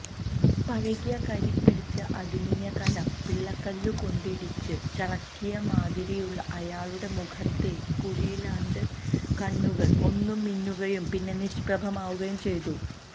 പഴകിയ കരിപിടിച്ച അലുമിനിയ കലം പിള്ളക്കല്ലുകൊണ്ടിടിച്ചു ചളുക്കിയമാതിരിയുള്ള അയാളുടെ മുഖത്തെ കുഴിയിലാണ്ട കണ്ണുകള് ഒന്നു മിന്നുകയും പിന്നെ നിഷ്പ്രഭമാവുകയും ചെയ്തു